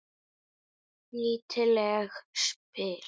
Nýtileg spil.